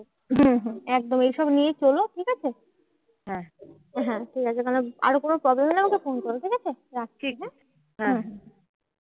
হম হম একদম এইসব নিয়েই চলো ঠিকাছে? ঠিকাছে কারণ আর কোনো problem হলে আমাকে ফোন করো ঠিকাছে? রাখছি হ্যাঁ?